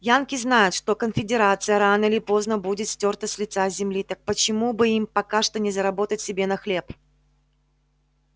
янки знают что конфедерация рано или поздно будет стёрта с лица земли так почему бы им пока что не заработать себе на хлеб